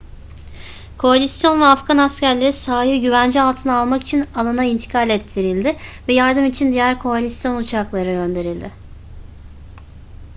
koalisyon ve afgan askerleri sahayı güvence altına almak için alana intikal ettirildi ve yardım için diğer koalisyon uçakları gönderildi